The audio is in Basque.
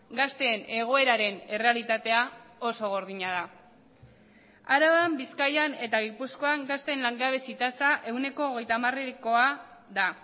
gazteen egoeraren errealitatea oso gordina da araban bizkaian eta gipuzkoan gazteen langabezi tasa ehuneko hogeita hamarekoa da